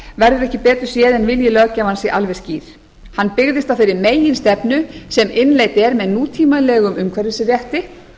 verður ekki betur séð en vilji löggjafans sé alveg skýr hann byggðist á þeirri meginstefnu sem innleidd er með nútímalegum umhverfisrétti